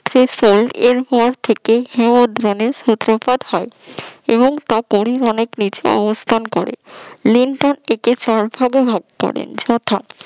শেষ হয় এবং এরপর থেকে হিমদ্রোণী র সূত্রপাত হয় এবং তা পরে অনেক নিচে অবস্থান করে